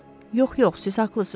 Yox, yox, siz haqlısınız.